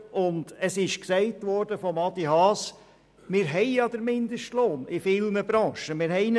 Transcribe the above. Von Adrian Haas wurde gesagt, dass wir den Mindestlohn in vielen Branchen bereits haben.